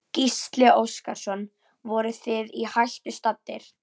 Gísli Óskarsson: Voruð þið í hættu staddir?